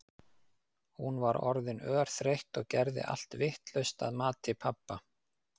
Hún var orðin örþreytt og gerði allt vitlaust að mati pabba.